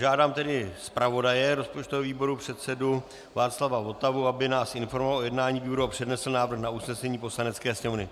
Žádám tedy zpravodaje rozpočtového výboru, předsedu Václava Votavu, aby nás informoval o jednání výboru a přednesl návrh na usnesení Poslanecké sněmovny.